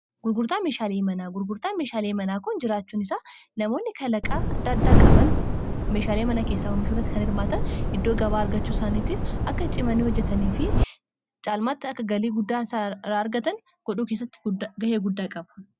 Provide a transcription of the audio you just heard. gurgurtaan meeshaalii manaa gurgurtaan meeshaalii manaa kon jiraachuun isaa namoonni kalaqaa daaddaa qaban meeshaalii manaa keessaa homishuuratti kan irmaatan iddoo gabaa argachuu saaniitiif akka cimanii hojjetanii fi caalmaatti akka galii guddaa saaraa argatan godhuu keessatti ga'ee guddaa qaba